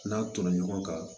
N'a tonna ɲɔgɔn kan